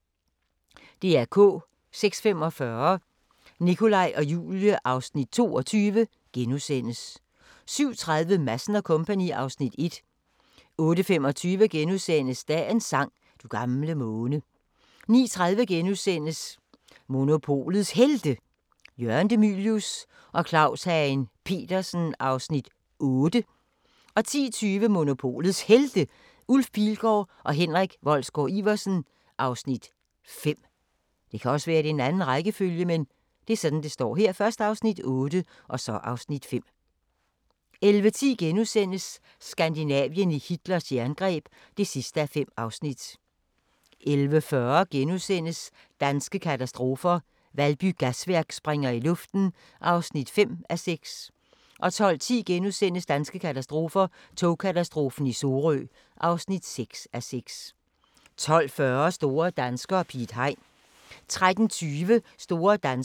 06:45: Nikolaj og Julie (Afs. 22)* 07:30: Madsen & Co. (Afs. 1) 08:25: Dagens sang: Du gamle måne * 09:30: Monopolets Helte – Jørgen De Mylius og Claus Hagen Petersen (Afs. 8)* 10:20: Monopolets Helte – Ulf Pilgaard og Henrik Wolsgaard-Iversen (Afs. 5) 11:10: Skandinavien i Hitlers jerngreb (5:5)* 11:40: Danske katastrofer – Valby Gasværk springer i luften (5:6)* 12:10: Danske katastrofer – Togkatastrofen i Sorø (6:6)* 12:40: Store danskere - Piet Hein 13:20: Store danskere - Buster Larsen